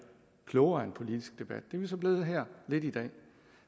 klogere af en politisk debat det er vi så blevet lidt her i dag